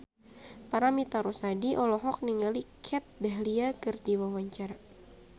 Paramitha Rusady olohok ningali Kat Dahlia keur diwawancara